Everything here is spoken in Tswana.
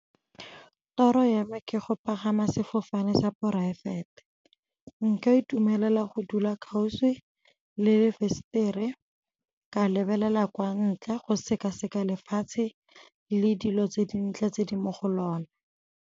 Toro ya me ke go pagama sefofane sa poraefete. Nka itumelela go dula kgauswi le lefensetere ke lebelela kwa ntle go sekaseka lefatshe le dilo tse dintle tse di mo go lona.